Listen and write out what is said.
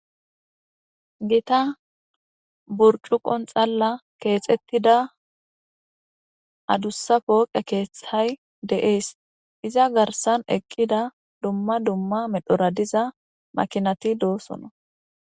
Gitta buricuqqo xallani kexetidda gitta poqqeyi deyesi. Iza garissani eqidda duma duma medhora deyiya makinati dossona